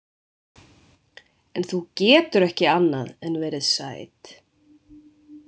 En þú getur ekki annað en verið sæt.